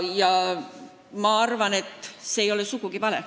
Ja ma arvan, et see ei ole sugugi vale.